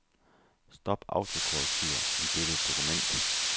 Stop autokorrektur i dette dokument.